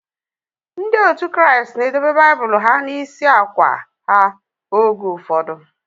Ndị otu Kraịst na edobe Baịbụl ha n'isi akwa ha oge ụfọdụ.